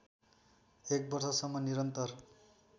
एक वर्षसम्म निरन्तर